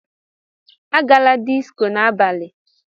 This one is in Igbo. Agala disco n'abalị!